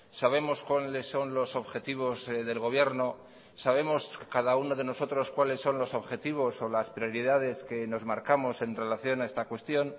sabemos cuáles son los objetivos del gobierno sabemos cada uno de nosotros cuáles son los objetivos o las prioridades que nos marcamos en relación a esta cuestión